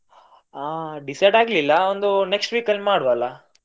ಆ decide ಆಗ್ಲಿಲ್ಲ. ಒಂದು next week ಅಲ್ಲಿ ಮಾಡ್ವ ಅಲ್ಲ?